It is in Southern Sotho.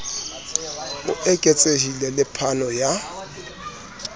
e eketsehileng le phano ya